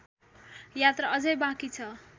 यात्रा अझै बाँकी छ